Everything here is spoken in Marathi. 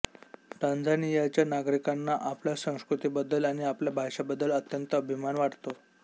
टांझानियाच्या नागरिकांना आपल्या संस्कृतीबद्दल आणि आपल्या भाषेबद्दल अत्यंत अभिमान वाटतो